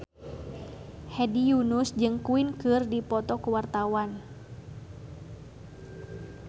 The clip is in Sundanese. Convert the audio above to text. Hedi Yunus jeung Queen keur dipoto ku wartawan